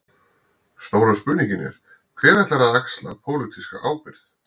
Stóra spurningin er: Hver ætlar að axla pólitíska ábyrgð?